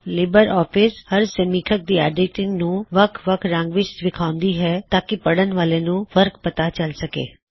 Libre office ਹਰ ਸਮੀਖਕ ਦੀ ਐੱਡਿਟਿੰਗ ਨੂੰ ਵਖ ਵਖ ਰੰਗ ਵਿੱਚ ਵਿਖਾਂਉਂਦੀ ਹੇ ਤਾਂਕੀ ਪੜ੍ਹਣ ਵਾਲੇ ਨੂੰ ਫਰ੍ਕ ਪਤਾ ਚਲ ਸਕੇ